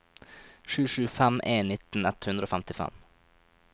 sju sju fem en nitten ett hundre og femtifem